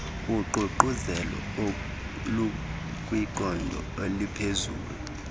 uququzelelo olukwiqondo eliphezulu